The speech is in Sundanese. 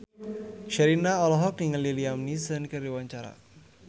Sherina olohok ningali Liam Neeson keur diwawancara